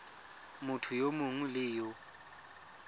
motho yo mongwe le yo